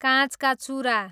काँचका चुरा